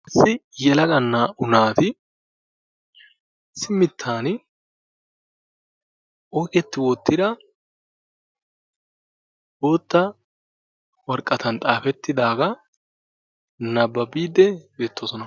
issi nyelaga naaa"u naati issi mitan oyqeti wotida boota woraqatan xaafeti utidaaga nababiidi beetoososna.